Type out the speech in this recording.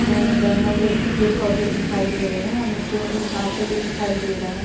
यहाँ जंगल जैसे पेड़ पोधे दिखाई दे रहे हैं और नीचे में कुछ घासे भी दिखाई दे रहा है।